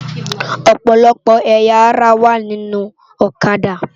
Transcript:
Òpòlòpò ëyá àrá wá ninú Òkâdá